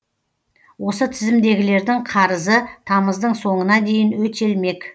осы тізімдегілердің қарызы тамыздың соңына дейін өтелмек